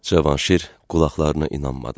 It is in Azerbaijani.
Cavanşir qulaqlarına inanmadı.